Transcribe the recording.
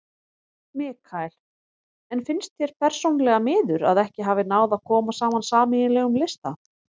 Mikael: En finnst þér persónulega miður að ekki hafi náð að koma saman sameiginlegum lista?